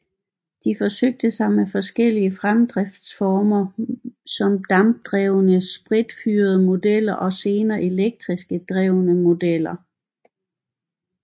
De forsøgte sig med forskellige fremdriftsformer som dampdrevne spritfyrede modeller og senere elektrisk drevne modeller